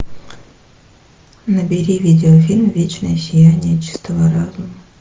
набери видеофильм вечное сияние чистого разума